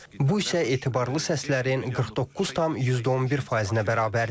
Bu isə etibarlı səslərin 49,11 faizinə bərabərdir.